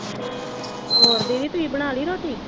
ਹੋਰ ਦੀਦੀ ਤੁਸੀਂ ਬਣਾ ਲਈ ਰੋਟੀ